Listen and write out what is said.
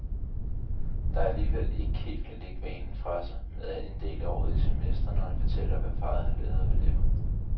Der alligevel ikke helt kan lægge vanen fra sig med at inddele året i semestre, når han fortæller, hvad parret har lavet og vil lave.